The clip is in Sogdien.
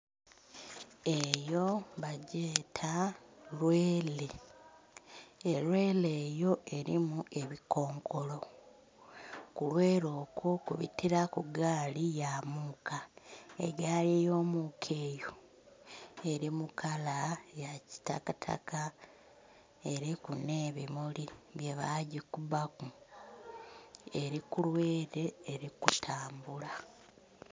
Eyo bagyeta lweele. Elweele eyo elimu ebikonkolo. Kulweele okwo kubitilaku gaali ya muuka. Egaali y'omuuka eyo eli mu kala ya kitakataka, eliku nh'ebimuli byebagikubaku. Eli ku lweele eli kutambula.